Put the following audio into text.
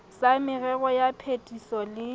sa merero ya phetiso le